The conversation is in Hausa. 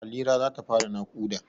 Halira za ta fara naƙuda.